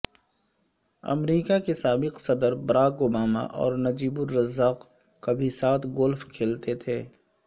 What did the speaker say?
امریکہ کے سابق صدر براک اوباما اور نجیب الرزاق کبھی ساتھ گولف کھیلتے تھے